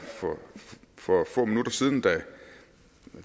for få minutter siden og